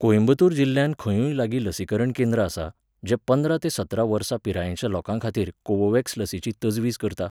कोइंबतूर जिल्ल्यांत खंयूय लागीं लसीकरण केंद्र आसा, जें पंदरा ते सतरा वर्सां पिरायेच्या लोकांखातीर कोवोव्हॅक्स लसीची तजवीज करता?